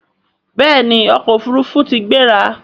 béèni ọkọ òfurufú tí gbéra.